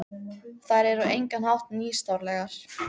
Þær eru á engan hátt nýstárlegar.